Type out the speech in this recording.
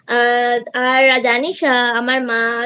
আর জানিস আমার মা